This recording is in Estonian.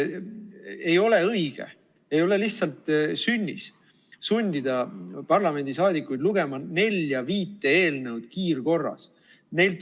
Ei ole õige, ei ole lihtsalt sünnis sundida parlamendi liikmeid lugema nelja-viit eelnõu kiirkorras.